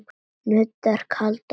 Nuddar kaldar hendur.